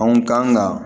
Anw kan ka